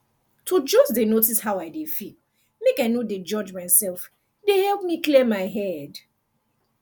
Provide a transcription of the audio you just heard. to just dey notice how i dey feel make i no de judge myself dey help me clear my head